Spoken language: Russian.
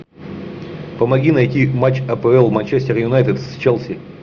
помоги найти матч апл манчестер юнайтед с челси